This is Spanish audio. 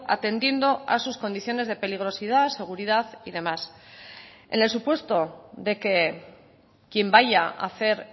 atendiendo a sus condiciones de peligrosidad seguridad y demás en el supuesto de que quien vaya a hacer